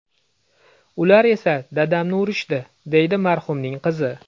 Ular esa dadamni urishdi”, deydi marhumning qizi.